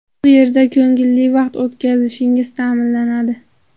Bu yerda ko‘ngilli vaqt o‘tkazishingiz ta’minlanadi.